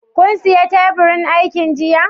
Kun siya teburin aikin jiya?